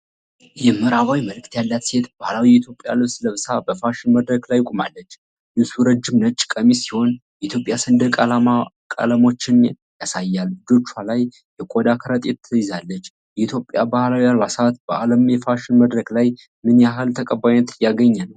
የምዕራባዊ መልክ ያላት ሴት ባህላዊ የኢትዮጵያ ልብስ ለብሳ በፋሽን መድረክ ላይ ቆማለች. ልብሱ ረጅም ነጭ ቀሚስ ሲሆን፣ የኢትዮጵያ ሰንደቅ ዓላማቀለሞችን ያሳያል። እጆቿ ላይ የቆዳ ከረጢት ትይዛለች። የኢትዮጵያ ባህላዊ አልባሳት በዓለም የፋሽን መድረክ ላይ ምን ያህል ተቀባይነት እያገኙ ነው?